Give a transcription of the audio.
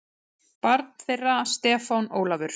Barn þeirra Stefán Ólafur.